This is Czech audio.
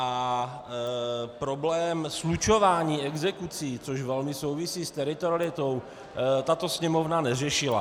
A problém slučování exekucí, což velmi souvisí s teritorialitou, tato Sněmovna neřešila.